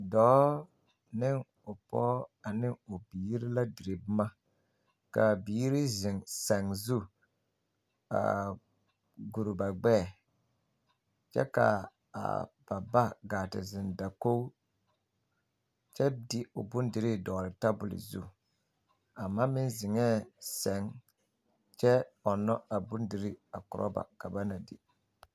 Dɔɔ ne o pɔge ne o biiri la dire boma ka a biiri zeŋ sɛŋ zu a guri ba gbɛɛ kyɛ ka a ba gaa te zeŋ dakogi kyɛ de o bondirii dɔgle tebol zu a ma meŋ zeŋɛɛ sɛŋ kyɛ ɔnna a bondirii a korɔ ba ka ba na di.